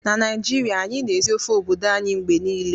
Na Naijiria, anyị na-esi ofe obodo anyị mgbe niile